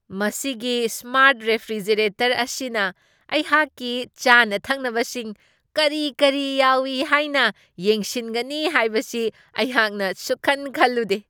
ꯃꯁꯤꯒꯤ smart refrigerator ꯑꯁꯤꯅ ꯑꯩꯍꯥꯛꯀꯤ ꯆꯥꯅ ꯊꯛꯅꯕꯁꯤꯡ ꯀꯔꯤ ꯀꯔꯤ ꯌꯥꯎꯢ ꯍꯥꯏꯅ ꯌꯦꯡꯁꯤꯟꯒꯅꯤ ꯍꯥꯏꯕꯁꯤ ꯑꯩꯍꯥꯛꯅ ꯁꯨꯛꯈꯟ ꯈꯜꯂꯨꯗꯦ ꯫